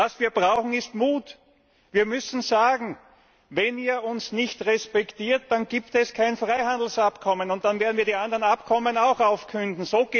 Was wir brauchen, ist Mut! Wir müssen sagen Wenn ihr uns nicht respektiert, dann gibt es kein Freihandelsabkommen, und dann werden wir die anderen Abkommen auch aufkündigen.